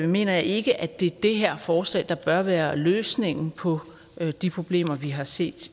mener jeg ikke at det er det her forslag der bør være løsningen på de problemer vi har set